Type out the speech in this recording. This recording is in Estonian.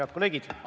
Head kolleegid!